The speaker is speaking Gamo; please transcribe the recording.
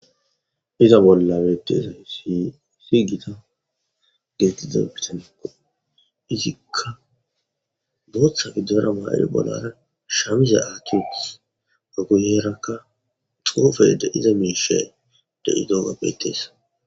Iza bollan utidayssi issi gita gidiza bitaniya izikka booththa giddora maa7iri bollara shamiza atitis. Ha guyerakka xoofe diza miishay de7idoga betees.